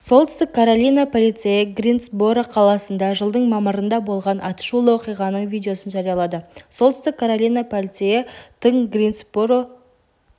солтүстік каролина полицейі гринсборо қаласында жылдың мамырында болған атышулы оқиғаның видеосын жариялады солтүстік каролина полицейі тыңгринсборо